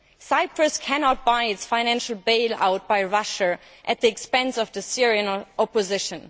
Cyprus cannot buy a financial bail out from Russia at the expense of the Syrian opposition.